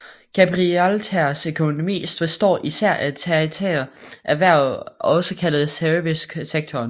Gibraltars økonomi består især af tertiære erhverv også kaldet servicesektoren